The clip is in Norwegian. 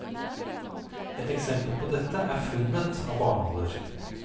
Et eksempel på dette er funnet av barnåler.